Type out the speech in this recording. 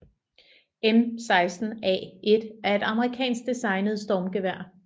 M16A1 er et amerikansk designet stormgevær